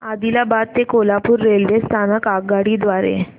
आदिलाबाद ते कोल्हापूर रेल्वे स्थानक आगगाडी द्वारे